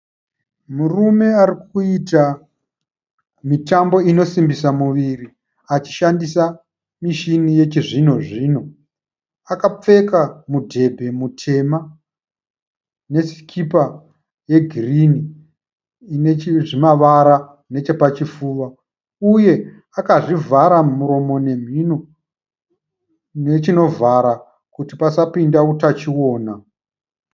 Murume ari kuita mitambo inosimbisa muviri achishandisa mishini yechizvino zvino. Akapfeka mudhebhe mutema nesikipa yegirini ine zvimavara nechepachifuva uye akazvivhara muromo nemhino nechinovhara kuti pasapinda utachiona.